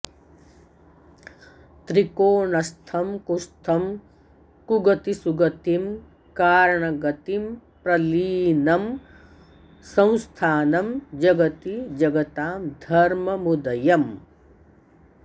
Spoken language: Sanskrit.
त्रिकोणस्थं कुस्थं कुगतिसुगतिं कारणगतिं प्रलीनं संस्थानं जगति जगतां धर्ममुदयम्